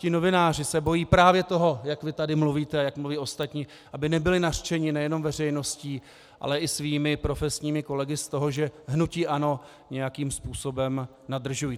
Ti novináři se bojí právě toho, jak vy tady mluvíte a jak mluví ostatní, aby nebyli nařčeni nejenom veřejností, ale i svými profesními kolegy z toho, že hnutí ANO nějakým způsobem nadržují.